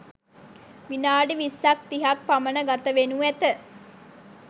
විනාඩි විස්සක් තිහක් පමණ ගත වෙනු ඇත